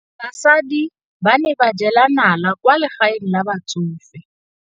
Basadi ba ne ba jela nala kwaa legaeng la batsofe.